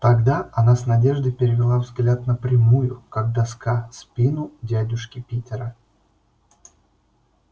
тогда она с надеждой перевела взгляд на прямую как доска спину дядюшки питера